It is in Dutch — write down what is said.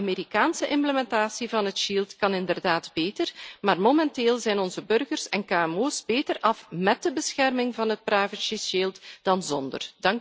De Amerikaanse implementatie van het shield kan inderdaad beter, maar momenteel zijn onze burgers en kmo's beter af met de bescherming van het privacy shield dan zonder.